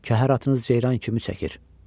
Kəhər atınız ceyran kimi çəkir.